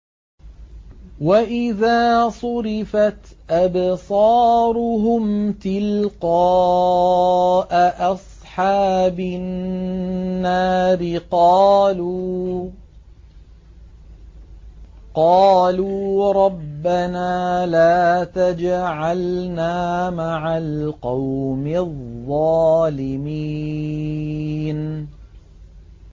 ۞ وَإِذَا صُرِفَتْ أَبْصَارُهُمْ تِلْقَاءَ أَصْحَابِ النَّارِ قَالُوا رَبَّنَا لَا تَجْعَلْنَا مَعَ الْقَوْمِ الظَّالِمِينَ